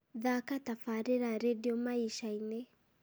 thaaka tabarĩra rĩndiũ maisha-inĩ